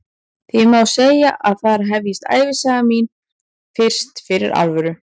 Því má segja að þar hefjist ævisaga mín fyrst fyrir alvöru.